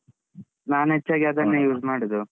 ನಾನ್ ಹೆಚ್ಚಾಗಿ ಅದನ್ನೇ use ಮಾಡುದು.